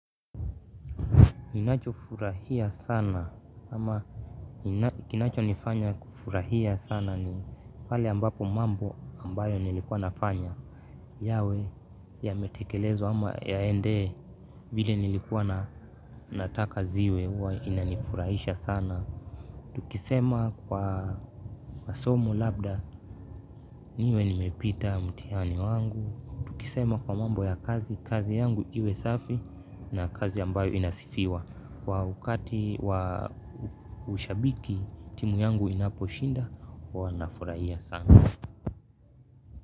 Ninacho furahia sana ama kinacho nifanya kufurahia sana ni pale ambapo mambo ambayo nilikuwa nafanya yawe yametekelezwa ama yaende vile nilikuwa na nataka ziwe uwa inanifurahisha sana. Tukisema kwa somo labda niwe nimepita mutiani wangu. Tukisema kwa mambo ya kazi kazi yangu iwe safi na kazi ambayo inasifiwa. Wa ukati wa ushabiki timu yangu inaposhinda huwa nafuraia sana.